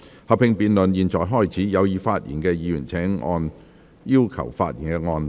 合併辯論現在開始，有意發言的議員請按"要求發言"按鈕。